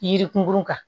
Yirikun kan